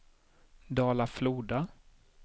Dala-Floda